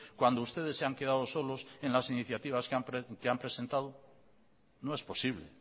cuando ustedes se han quedado solos en las iniciativas que han presentado no es posible